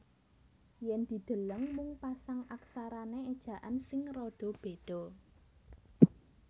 Yen dideleng mung pasang aksarane ejaan sing rada beda